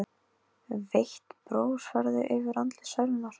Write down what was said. Veikt bros færðist yfir andlit Særúnar.